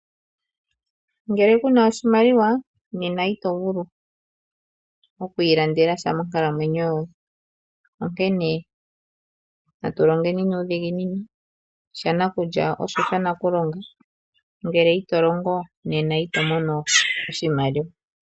Ngele ku na oshimaliwa nena ito vulu oku ilandela sha monkalamwenyo yoye, onkene natu longeni nuudhiginini, shanakulya osho shanakulonga, ngele ito longo nena ito mono oshimaliwa.